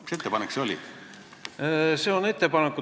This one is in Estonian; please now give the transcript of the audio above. Mis ettepanek see oli?